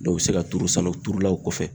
u bɛ se ka turu sa o u turula o kɔfɛ.